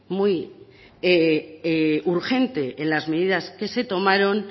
muy urgente en las medidas que se tomaron